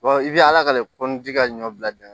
i bɛ ala ka le ka ɲɔ bila bi